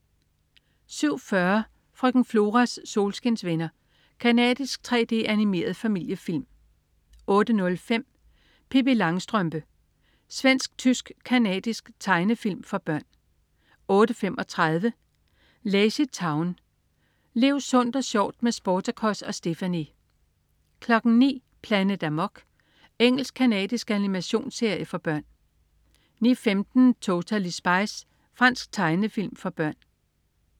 07.40 Frøken Floras solskinsvenner. Canadisk 3D-animeret familiefilm 08.05 Pippi Langstrømpe. Svensk-tysk-canadisk tegnefilm for børn 08.35 LazyTown. Lev sundt og sjovt med Sportacus og Stephanie! 09.00 Planet Amok. Engelsk-canadisk animationsserie for børn 09.15 Totally Spies. Fransk tegnefilm for børn